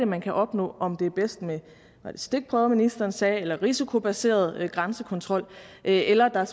man kan opnå om det er bedst med stikprøver som ministeren sagde eller risikobaseret grænsekontrol eller er der